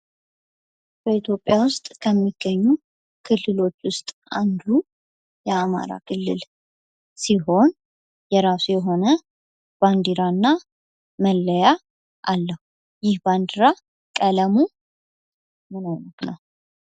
በኢትዮጵያ ከሚገኙ ክልሎች ውስጥ አንዱ የአማራ ክልል ሲሆን የራሱ የሆነ ባንዲራ እና መለያ አለው ይህ ባንዲራ ቀለሙ ምን አይነት ነው?